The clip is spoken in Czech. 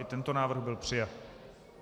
I tento návrh byl přijat.